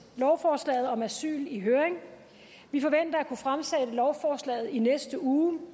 lovforslaget om asyl i høring vi forventer at kunne fremsætte lovforslaget i næste uge